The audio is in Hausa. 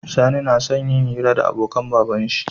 Sani nason yayi hira da abokan baban shi